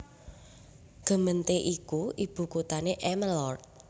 Gemeente iki ibu kuthané Emmeloord